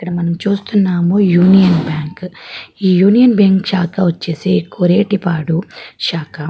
ఇక్కడ మనం చూస్తున్నాము యూనియన్ బ్యాంకు ఈ యూనియన్ బ్యాంకు శాక వచ్చేసి కోర్రేటి పాడు శాక.